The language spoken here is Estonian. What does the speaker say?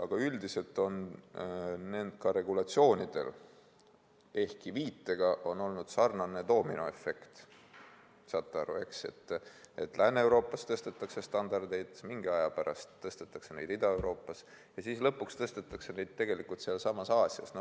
Aga üldiselt on nendel regulatsioonidel, ehkki viitega, olnud doominoefekt: Lääne-Euroopas tõstetakse standardeid, mingi aja pärast tõstetakse neid Ida-Euroopas ja siis lõpuks tõstetakse neid tegelikult ka Aasias.